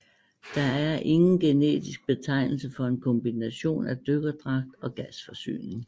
Der er ingen generisk betegnelse for en kombination af dykkerdragt og gasforsyning